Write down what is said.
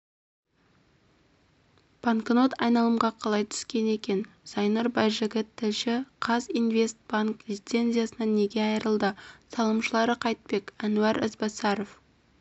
банкнот айналымға қалай түскен екен зайнұр байжігіт тілші қазинвестбанк лицензиясынан неге айырылды салымшылары қайтпек әнуар ізбасаров